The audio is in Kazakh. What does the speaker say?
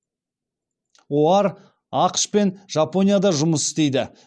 оар ақш пен жапонияда жұмыс істейді